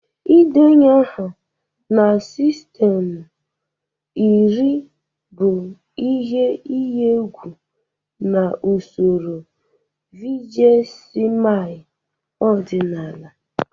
Ịdenye aha na sistemụ iri bụ ihe iyi egwu na usoro vigesimal ọdịnala